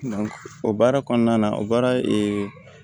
o baara kɔnɔna na o baara